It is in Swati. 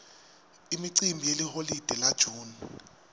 imicimbi yeliholide la june